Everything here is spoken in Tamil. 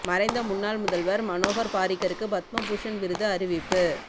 மறைந்த முன்னாள் முதல்வர் மனோகர் பாரிக்கருக்கு பத்ம பூஷன் விருது அறிவிப்பு